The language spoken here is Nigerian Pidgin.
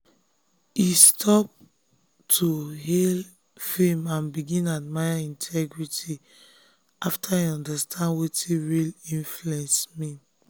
e stop to dey hail fame and begin admire integrity after e understand wetin real influence mean.